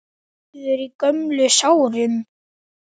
Svíður í gömlum sárum.